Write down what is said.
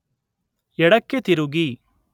ಎಡಕ್ಕೆ ತಿರುಗಿ